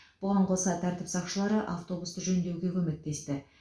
бұған қоса тәртіп сақшылары автобусты жөндеуге көмектесті